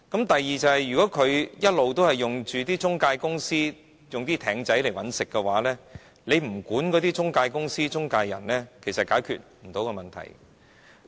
第二，如果放債人一直透過中介公司和"艇仔"找生意的話，不規管中介公司、中介人是解決不到問題的。